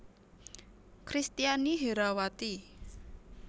Kristiani Herrawati